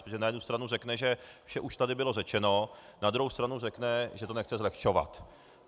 Protože na jednu stranu řekne, že vše už tady bylo řečeno, na druhou stranu řekne, že to nechce zlehčovat.